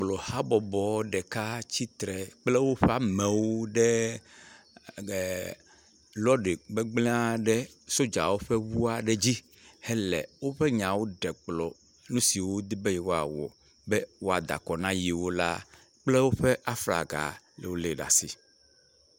Bobluabɔbɔ ɖeka tsi tsre kple woƒe amewo ɖe ee loɖe gbegblẽa ɖe sojawo ƒe ŋua ɖe dzi hele woƒe nyawo gblɔ, nu siwo wodi be yewoawɔ be woada akɔ na yewo la, kple woƒe aflaga, yolée ɖa si.